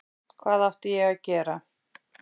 Hvað átti ég að gera?